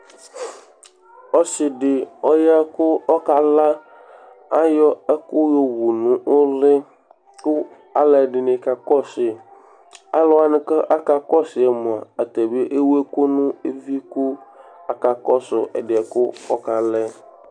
ɔsi dɩ kala, ayɔ ɛkʊ yɔwu nʊ uli, kʊ aluɛdɩnɩ kakɔsu yi, aluwanɩ kʊ akakɔsu yi mua, atanibɩ ewu ɛkʊ nʊ evi, kʊ akakɔsu ɛdi yɛ kʊ ɔkala yɛ